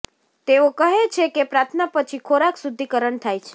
તેઓ કહે છે કે પ્રાર્થના પછી ખોરાક શુદ્ધિકરણ થાય છે